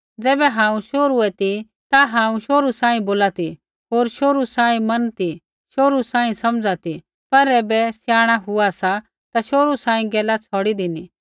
ज़ैबै हांऊँ शोहरु ऐ ती ता हांऊँ शोहरु सांही बोला ती होर शोहरु सांही मन ती शोहरु सांही समझ ती पर ऐबै स्याणा हुआ सा ता शोहरु सांही गैला छ़ौड़ी धिनी